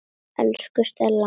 Elsku Stella.